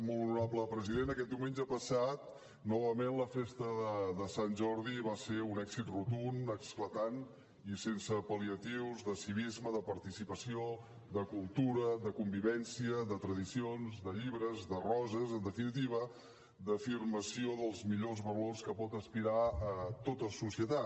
molt honorable president aquest diumenge passat novament la festa de sant jordi va ser un èxit rotund esclatant i sense pal·liatius de civisme de participació de cultura de convivència de tradicions de llibres de roses en definitiva d’afirmació dels millors valors a què pot aspirar tota societat